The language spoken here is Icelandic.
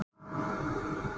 Hvernig er argon skilgreint?